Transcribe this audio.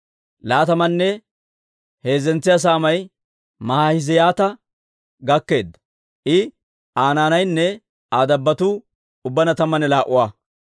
Laatamanne heezzentsa saamay Maahizi'aata gakkeedda; I, Aa naanaynne Aa dabbotuu ubbaanna tammanne laa"a.